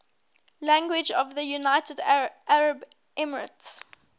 languages of the united arab emirates